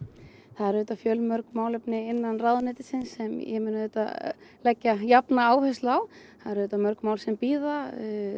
það eru auðvitað fjölmörg málefni innan ráðuneytisins sem ég mun auðvitað leggja jafna áherslu á það eru auðvitað mörg mál sem bíða